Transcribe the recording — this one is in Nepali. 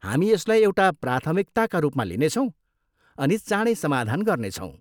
हामी यसलाई एउटा प्राथमिकताका रूपमा लिनेछौँ अनि चाँडै समाधान गर्नेछौँ।